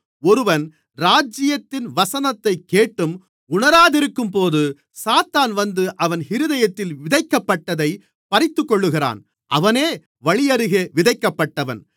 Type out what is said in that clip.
ஒருவன் ராஜ்யத்தின் வசனத்தைக் கேட்டும் உணராதிருக்கும்போது சாத்தான் வந்து அவன் இருதயத்தில் விதைக்கப்பட்டதைப் பறித்துக்கொள்ளுகிறான் அவனே வழியருகே விதைக்கப்பட்டவன்